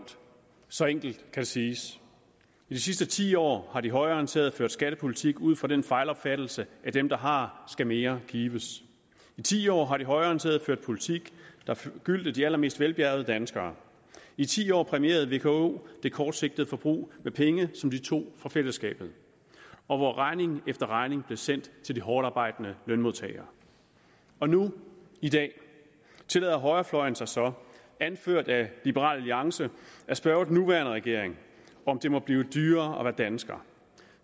så enkelt kan det siges i de sidste ti år har de højreorienterede ført skattepolitik ud fra den fejlopfattelse at den der har skal mere gives i ti år har de højreorienterede ført en politik der forgyldte de allermest velbjærgede danskere i ti år præmierede vko det kortsigtede forbrug med penge som de tog fra fællesskabet og hvor regning efter regning blev sendt til de hårdtarbejdende lønmodtagere nu i dag tillader højrefløjen sig så anført af liberal alliance at spørge den nuværende regering om det må blive dyrere at være dansker